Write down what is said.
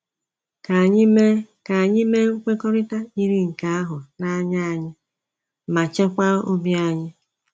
Ka anyị mee Ka anyị mee nkwekọrịta yiri nke ahụ na anya anyị ma chekwaa obi anyị.